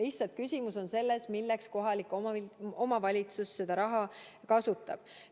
Lihtsalt küsimus on selles, milleks kohalik omavalitsus seda raha kasutab.